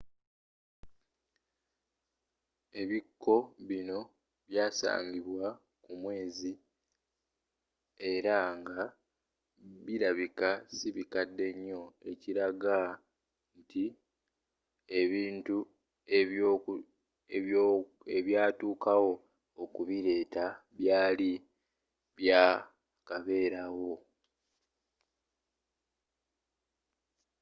ebikko bino byasagimbwa ku mwezi era nga bilabika sibikadde nyo ekiraga nti ebintu ebyatuukawo okubileeta byali bya kaberaawo